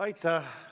Aitäh!